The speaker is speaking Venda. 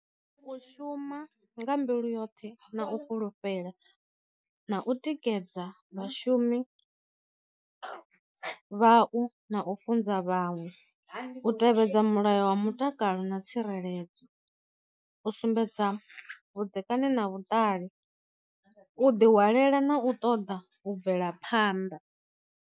U shuma nga mbilu yoṱhe na u fulufhela, na u tikedza vhashumi vha u na u funza vhaṅwe, u tevhedza mulayo wa mutakalo na tsireledzo, u sumbedza vhudzekani na vhuṱali, u ḓi hwalela na u ṱoḓa u bvela phanḓa.